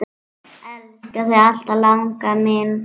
Elska þig alltaf, langa mín.